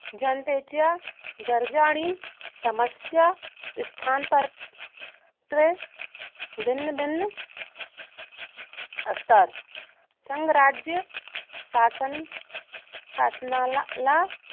जनतेच्या गरजा आणि समस्या या स्थानाप्रमाणे भिन्न भिन्न असतात. संघराज्य शासनाला